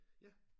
Ja